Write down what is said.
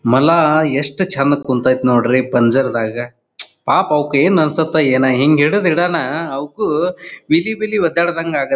ಮೊಲ ಎಷ್ಟ ಚಂದ್ ಕುಂತೈತ್ ನೋಡ್ರಿ ಪಂಜರದಗ್ ಪಾಪ್ ಅವ್ಕ್ ಏನ್ ಅನ್ನಸುತೋ ಏನೋ ಹಿಂಗ ಹಿಡದ್ ಇಡನ ಅವುಕ್ಕೂ ವಿಲಿವಿಲಿ ಒದ್ದಾಡದಂಗೆ ಆಗುತ್ತೆ.